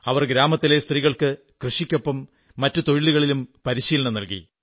അവർ ഗ്രാമത്തിലെ സ്ത്രീകൾക്ക് കൃഷിക്കൊപ്പം മറ്റു തൊഴിലുകളിലും പരിശീലനം നല്കി